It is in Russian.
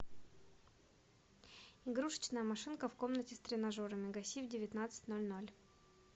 игрушечная машинка в комнате с тренажерами гаси в девятнадцать ноль ноль